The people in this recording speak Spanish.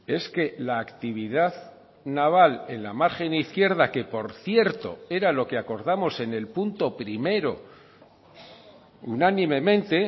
es que la actividad naval en la margen izquierda que por cierto era lo que acordamos en el punto primero unánimemente